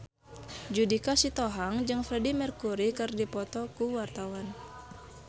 Judika Sitohang jeung Freedie Mercury keur dipoto ku wartawan